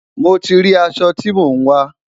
mo tí rí aṣọ tí mọ n wa